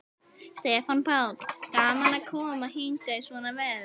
Stefán Páll: Gaman að koma hingað í svona veður?